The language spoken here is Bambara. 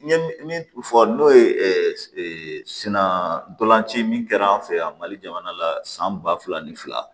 N ye min fɔ n'o ye sinandoci min kɛra an fɛ yan mali jamana la san ba fila ni fila